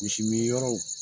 Misi min yɔrɔw.